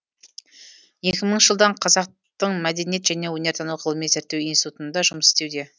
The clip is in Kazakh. екі мыңыншы жылдан қазақтың мәдениет және өнертану ғылыми зерттеу институтында жұмыс істеуде